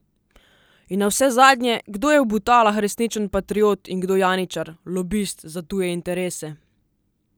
In navsezadnje, kdo je v Butalah resničen patriot in kdo janičar, lobist za tuje interese?